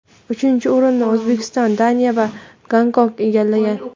Uchinchi o‘rinni O‘zbekiston, Daniya va Gonkong egallagan.